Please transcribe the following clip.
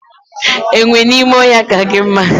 Enwe n'ime ohia ka gi mma